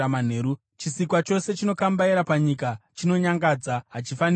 “ ‘Chisikwa chose chinokambaira panyika chinonyangadza, hachifaniri kudyiwa.